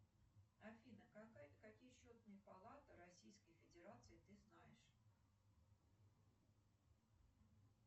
афина какие счетные палаты российской федерации ты знаешь